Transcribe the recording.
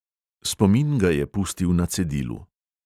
Spomin ga je pustil na cedilu.